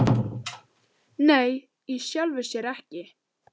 Nei, í sjálfu sér ekki.